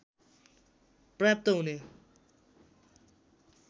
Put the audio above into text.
पर्याप्त हुने